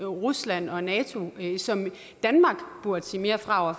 rusland og nato som danmark burde sige mere fra over